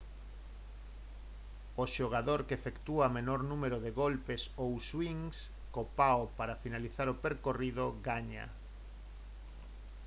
o xogador que efectúa menor número de golpes ou swings co pao para finalizar o percorrido gaña